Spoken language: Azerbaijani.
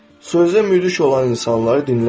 Sözdə müdrik olan insanları dinləmə.